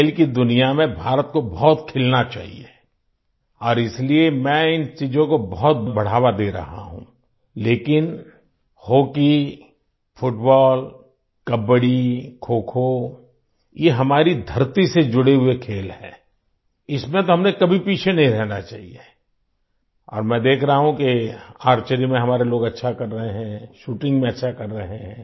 खेल की दुनिया में भारत को बहुत खिलना चाहिए और इसलिए मैं इन चीज़ों को बहुत बढ़ावा दे रहा हूँ लेकिन हॉकी फुटबॉल कबड्डी खोखो ये हमारी धरती से जुड़े हुए खेल हैं इसमें तो हमें कभी पीछे नहीं रहना चाहिए और मैं देख रहा हूँ कि आर्चरी में हमारे लोग अच्छा कर रहे हैं शूटिंग में अच्छा कर रहे हैं